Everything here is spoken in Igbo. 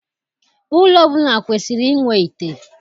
Ụlọ ọbụla kwesiri inwe ite.